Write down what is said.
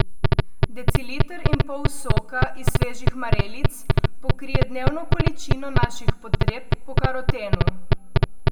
Deciliter in pol soka iz svežih marelic pokrije dnevno količino naših potreb po karotenu.